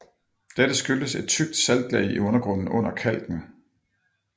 Dette skyldes et tykt saltlag i undergrunden under kalken